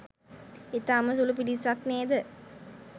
ඉතාම සුළු පිරිසක් නේද